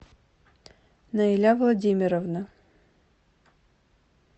наиля владимировна